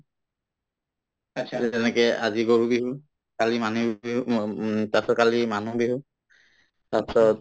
‍যে‍‍ যেনেকে আজি গৰু বিহু কালি মানুহ বি‍‍ বিহু ম্ম উম তাৰপিছত কালি মানুহ বিহু তাৰপিছত